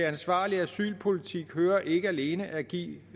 ansvarlig asylpolitik hører ikke alene at give